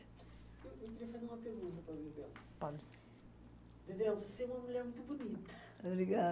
Eu queria fazer uma pergunta para a Bebel. Pode. Bebel, você é uma mulher muito bonita.